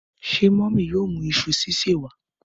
Ṣé mọmi yóò mú iṣu sise wa?